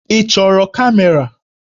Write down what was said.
Ị chọrọ kamera?